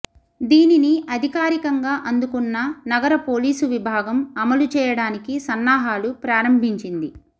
దీనిని అధికారికంగా అందుకున్న నగర పోలీసు విభాగం అమలు చేయడానికి సన్నాహాలు ప్రారంభించింది